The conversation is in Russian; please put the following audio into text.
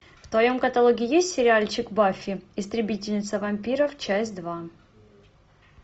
в твоем каталоге есть сериальчик баффи истребительница вампиров часть два